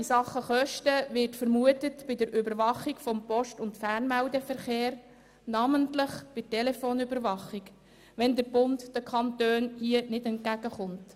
In Sachen Kosten wird dasselbe bei der Überwachung des Post- und Fernmeldeverkehrs vermutet, namentlich bei der Telefonüberwachung, sollte der Bund den Kantonen hier nicht entgegenkommen.